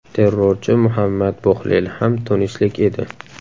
Terrorchi Muhammad Buxlel ham tunislik edi.